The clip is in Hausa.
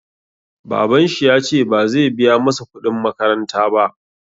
Babanshi yace bazai biya masa kuɗin makaranta ba